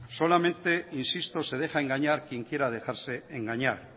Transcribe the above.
solamente insisto se deja engañar quien quiera dejarse engañar